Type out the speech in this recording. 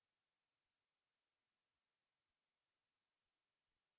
এরপর go go টিপুন